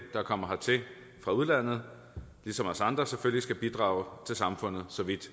der kommer hertil fra udlandet ligesom os andre selvfølgelig skal bidrage til samfundet så vidt